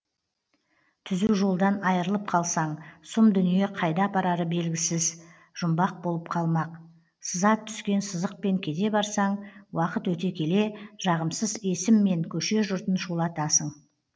түзу жолдан айырылып қалсаң сұм дүние қайда апарары белгісіз жұмбақ болып қалмақ сызат түскен сызықпен кете барсаң уақыт өте келе жағымсыз есіммен көше жұртын шулатасың